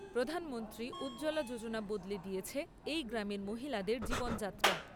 প্রধানমন্ত্রী উজ্জ্বলা যোজনা বদলে দিয়েছে এই গ্রামের মহিলাদের জীবনযাত্রা।